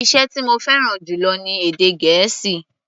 Iṣẹ́ tí mo fẹ́ràn jù lọ ni èdè Gẹ̀ẹ́sì.